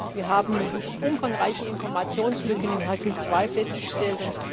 Wir haben umfangreiche Informationslücken in Hercule II festgestellt.